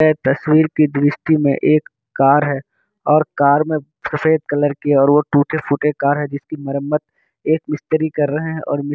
ये तस्वीर की दृष्टि में एक कार है और कार में सफ़ेद कलर की और वो टूटे-फूटे कार हैं जिसकी मरम्मत एक मिस्त्री कर रहें हैं और मि --